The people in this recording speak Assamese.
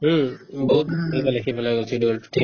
উম, বহুত ইফালে-সিফালে গুচি গ'ল